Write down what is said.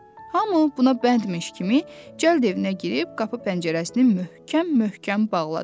Hamı buna bənd imiş kimi cəld evinə girib qapı-pəncərəsini möhkəm-möhkəm bağladı.